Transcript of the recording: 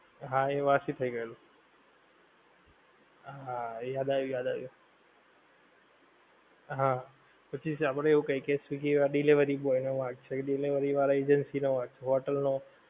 હા એ વાસી થઈ ગયેલું હા યાદ આયું યાદ આયું હા પછી આપડે એવું કહે કે swiggy આ delivery boy નું વાક છે એ delivery વાળા agency નો વાક hotel નો hotel વાળા નો